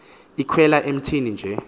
ikhwela emthini nje